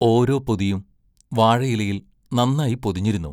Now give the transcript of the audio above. ഓരോ പൊതിയും വാഴയിലയിൽ നന്നായി പൊതിഞ്ഞിരുന്നു.